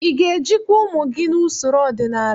Ị ga-ejikwa ụmụ gị n'usoro ọdịnala?